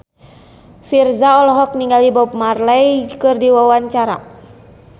Virzha olohok ningali Bob Marley keur diwawancara